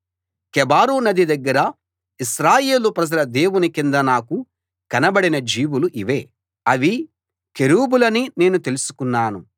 కెబారు నది దగ్గర ఇశ్రాయేలు ప్రజల దేవుని కింద నాకు కనబడిన జీవులు ఇవే అవి కెరూబులని నేను తెలుసుకున్నాను